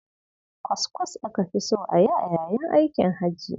Kwaskwas aka fi so a yi a yayin aikin hajji.